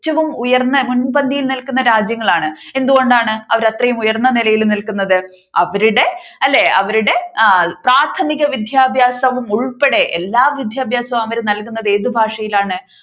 ഏറ്റവും ഉയർന്ന മുൻപന്തിയിൽ നിൽക്കുന്ന രാജ്യങ്ങളാണ് എന്തുകൊണ്ടാണ് അവർ അത്രയും ഉയർന്ന നിലയിൽ നിൽക്കുന്നത് അവരുടെ അല്ലെ അവരുടെ ആ പ്രാഥമിക വിദ്യാഭ്യാസം ഉൾപ്പടെ എല്ലാ വിദ്യാഭ്യാസവും അവർ നല്കുന്നത് ഏതു ഭാഷയിലാണ്